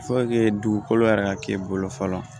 dugukolo yɛrɛ ka k'i bolo fɔlɔ